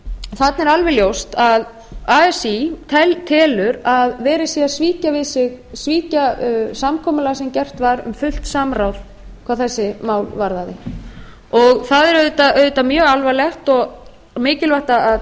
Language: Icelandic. þarna er alveg ljóst að así telur að verið sé að svíkja samkomulag sem gert var um fullt samráð hvað þessi mál varðaði það er auðvitað mjög alvarlegt og mikilvægt að